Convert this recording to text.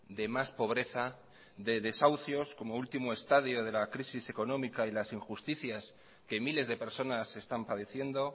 de más pobreza de desahucios como último estadio de la crisis económica y las injusticias que miles de personas están padeciendo